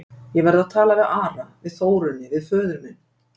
Ég verð að tala við Ara, við Þórunni, við föður minn.